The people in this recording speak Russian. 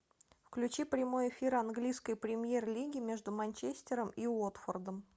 включи прямой эфир английской премьер лиги между манчестером и уотфордом